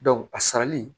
a sarali